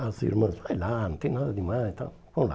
As irmãs, vai lá, não tem nada de mais tal, vamos lá.